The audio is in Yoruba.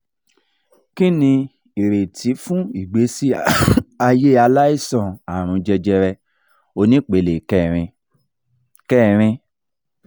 kini ireti fun igbesi aye alaisan arun jejere onipele kerin? kerin?